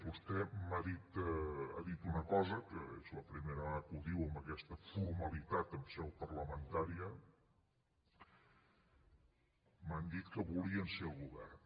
vostè ha dit una cosa que és la primera vegada que ho diu amb aquesta formalitat en seu parlamentària m’ha dit que volien ser al govern